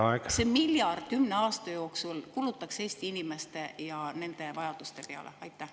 … et see miljard kümne aasta jooksul kulutataks Eesti inimeste ja nende vajaduste peale?